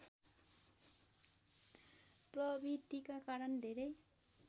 प्रवृतिका कारण धेरै